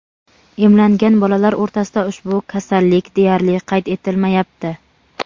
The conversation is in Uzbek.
emlangan bolalar o‘rtasida ushbu kasallik deyarli qayd etilmayapti.